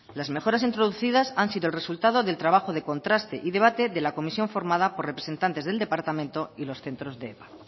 las mejoras introducidas han sido el resultado del trabajo de contraste y debate de la comisión formada por representantes del departamento y los centros de epa